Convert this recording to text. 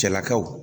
Cɛlakaw